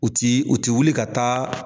U ti u ti wuli ka taa